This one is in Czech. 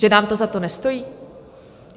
Že nám to za to nestojí?